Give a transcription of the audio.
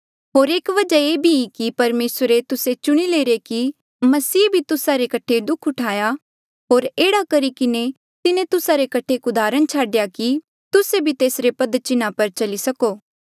होर एक वजहा ये भी की परमेसरे तुस्से चुणिरे कि तुस्से मसीह रे कठे दुःख सहन करो मसीहे भी तुस्सा रे कठे दुःख उठाया होर एह्ड़ा करी किन्हें तिन्हें तुस्सा रे कठे एक उदाहरण छाडेया कि तुस्से भी तेसरे पद चिन्हा पर चली सको